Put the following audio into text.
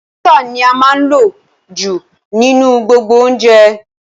Àlùbọ́sà ní a máa ń lò jù nínú gbogbo oúnjẹ